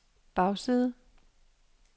bagside